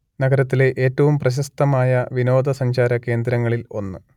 നഗരത്തിലെ ഏറ്റവും പ്രശസ്തമായ വിനോദസഞ്ചാര കേന്ദ്രങ്ങളിൽ ഒന്ന്